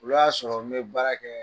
O y'a sɔrɔ n bɛ baara kɛ